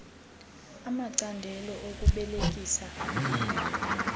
amacandelo okubelekisa aphethwe